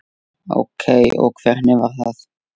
Ókei og hvernig var það?